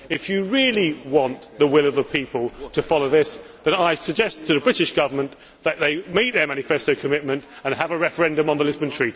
If you really want the will of the people to follow this, then I suggest to the British Government that they meet their manifesto commitment and have a referendum on the Lisbon Treaty.